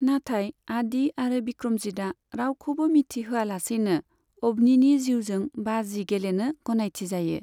नाथाय आदि आरो बिक्रमजितआ रावखौबो मिथिहोयालासैनो अभनिनि जिउजों बाजि गेलेनो गनायथिजायो।